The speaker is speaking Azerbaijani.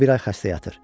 O bir ay xəstə yatır.